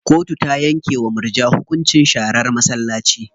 Kotu ta yanke wa murja hukuncin sharan masallaci.